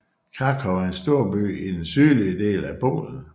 Kraków er en storby i den sydlige del af Polen